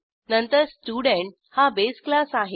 नंतर स्टुडेंट हा base class आहे